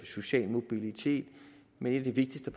sociale mobilitet men et af de vigtigste